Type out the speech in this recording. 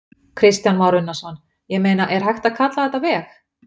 Kristján Már Unnarsson: Ég meina, er hægt að kalla þetta veg?